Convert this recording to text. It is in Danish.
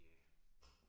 Ja